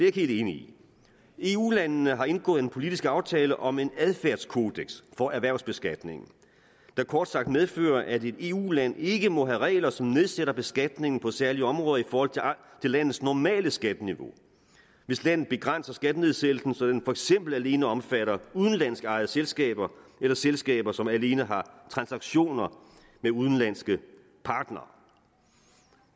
ikke helt enig i eu landene har indgået en politisk aftale om en adfærdskodeks for erhvervsbeskatning der kort sagt medfører at et eu land ikke må have regler som nedsætter beskatningen på særlige områder i forhold til landets normale skatteniveau hvis landet begrænser skattenedsættelsen så den for eksempel alene omfatter udenlandsk ejede selskaber eller selskaber som alene har transaktioner med udenlandske partnere